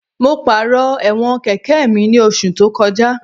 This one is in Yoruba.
Mo pàrọ̀ ẹ̀wọ̀n kẹ̀kẹ́ mi ní oṣù tó kọjá